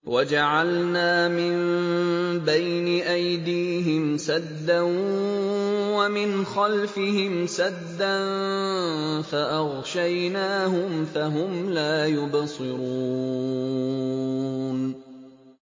وَجَعَلْنَا مِن بَيْنِ أَيْدِيهِمْ سَدًّا وَمِنْ خَلْفِهِمْ سَدًّا فَأَغْشَيْنَاهُمْ فَهُمْ لَا يُبْصِرُونَ